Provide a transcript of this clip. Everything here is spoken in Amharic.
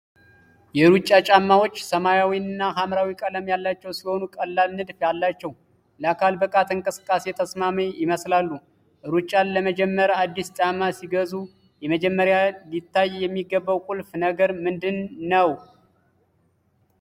የሩጫ ጫማዎች ሰማያዊና ሀምራዊ ቀለም ያላቸው ሲሆኑ ቀላል ንድፍ አላቸው። ለአካል ብቃት እንቅስቃሴ ተስማሚ ይመስላሉ። ሩጫን ለመጀመር አዲስ ጫማ ሲገዙ መጀመሪያ ሊታይ የሚገባው ቁልፍ ነገር ምንድን ነው?